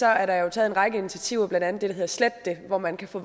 er der jo taget en række initiativer blandt andet det der hedder sletdet hvor man kan få